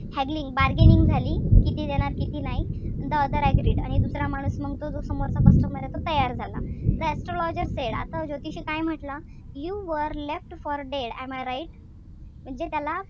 Haggling bargaining झाली किती देणार किती नाही. The other agreed आणि दुसरा माणूस मग तो जो समोरचा customer ए तो तयार झाला. The astrologer said आता ज्योतिषी काय म्हंटला. You were left for dead am I right म्हणजे त्याला,